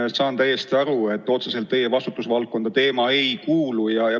Ma saan täiesti aru, et see teema otseselt teie vastutusvaldkonda ei kuulu.